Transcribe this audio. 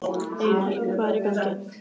Einar, hvað hvað er í gangi?